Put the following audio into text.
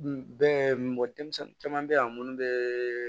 Bɛ bɔ denmisɛnnin caman bɛ yan minnu bɛ